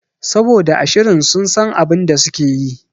Saboda a shirin sun san abinda sukeyi